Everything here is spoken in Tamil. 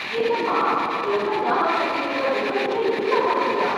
என்னம்மா... எவ்ளோ ஞாபக சக்தி இருக்கற உங்களுக்கே, இவ்ளோ மறதியா...